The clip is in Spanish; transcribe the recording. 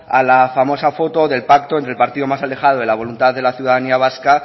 a la famosa foto del pacto entre el partido más alejado de la voluntad de la ciudadanía vasca